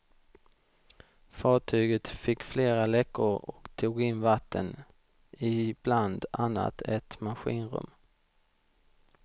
Fartyget fick flera läckor och tog in vatten i bland annat ett maskinrum.